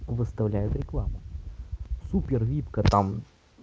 выставляет рекламу супер випка там